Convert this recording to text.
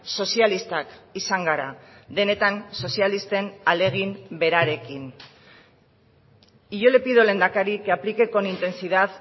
sozialistak izan gara denetan sozialisten ahalegin berarekin y yo le pido lehendakari que aplique con intensidad